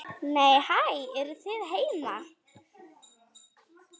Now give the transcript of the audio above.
Nei, hæ, eruð þið heima!